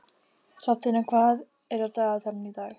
Hrafntinna, hvað er á dagatalinu í dag?